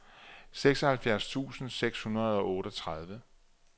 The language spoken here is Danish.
seksoghalvfjerds tusind seks hundrede og otteogtredive